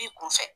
B'i kun fɛ